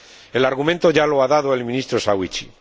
El argumento ya lo ha dado el Ministro Sawicki.